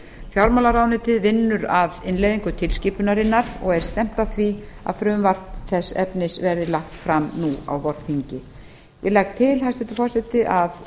fjármálaráðuneytið vinnur að innleiðingu tilskipunarinnar og er stefnt að því að frumvarp þess efnis verði lagt fram nú á vorþingi ég legg til hæstvirtur forseti